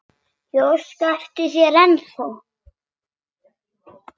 Ég óska eftir þér ennþá.